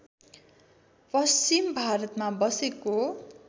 पश्चिम भारतमा बसेको